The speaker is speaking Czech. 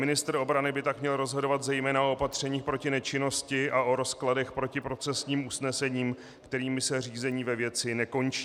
Ministr obrany by tak měl rozhodovat zejména o opatřeních proti nečinnosti a o rozkladech proti procesním usnesením, kterými se řízení ve věci nekončí.